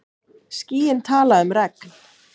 Skýin tala um regn.